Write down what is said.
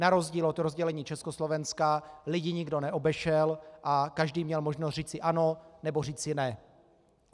Na rozdíl od rozdělení Československa lidi nikdo neobešel a každý měl možnost říct "ano" nebo říci "ne".